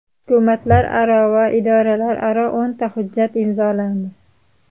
Hukumatlararo va idoralararo o‘nta hujjat imzolandi.